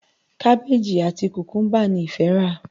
Kábéèjì àti Kùkúmbà ni ìfẹ rà.